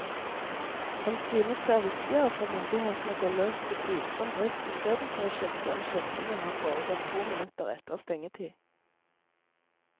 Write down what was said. Han synes det er viktigere for myndighetene å gå løs på tvilsom drift istedenfor å sjekke om skjenkingen har foregått to minutter etter stengetid.